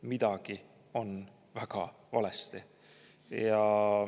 Midagi on väga valesti!